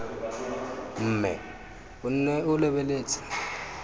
mme o nne o lebeletse